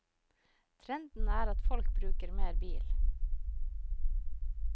Trenden er at folk bruker mer bil.